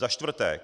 Za čtvrté.